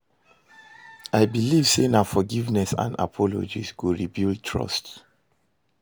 I believe say na forgiveness and apologies go rebuild trust.